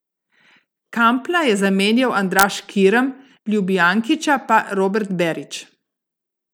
Kampla je zamenjal Andraž Kirm, Ljubijankića pa Robert Berić.